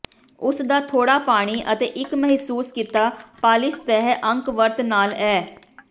ਉਸ ਦਾ ਥੋੜ੍ਹਾ ਪਾਣੀ ਅਤੇ ਇੱਕ ਮਹਿਸੂਸ ਕੀਤਾ ਪਾਲਿਸ਼ ਸਤਹ ਅੰਕ ਵਰਤ ਨਾਲ ਅੇ